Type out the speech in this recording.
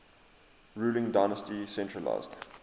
ruling dynasty centralised